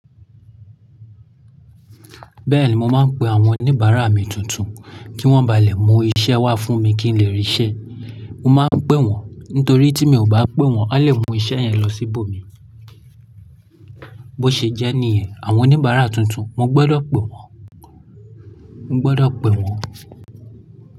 Bẹ́ẹ̀ni, mo máa ń pe àwọn oníbàárà mi tuntun kí wọ́n ba lè mú iṣẹ́ wá fún mi kí n lè rí'ṣẹ́. Mo máa ń pè wọ́n nítorí tí mi ò bá pè wọ́n, wọ́n lè mú iṣẹ́ yẹn lọ síbòmíì. Bó ṣe jẹ́ níyẹn, àwọn oníbàárà tuntun, mo gbọ́dọ̀ pè wọ́n. Mo gbọ́dọ̀ pè wọ́n.